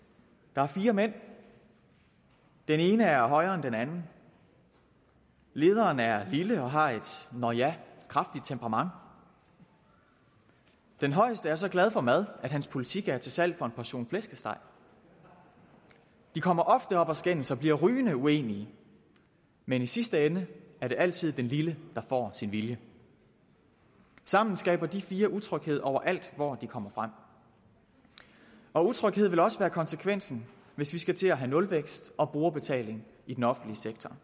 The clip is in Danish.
der er fire mænd den ene er højere end den anden lederen er lille og har et nåh ja kraftigt temperament den højeste er så glad for mad at hans politik er til salg for en portion flæskesteg de kommer ofte op at skændes og bliver rygende uenige men i sidste ende er det altid den lille der får sin vilje sammen skaber de fire utryghed overalt hvor de kommer frem utryghed vil også være konsekvensen hvis vi skal til at have nulvækst og brugerbetaling i den offentlige sektor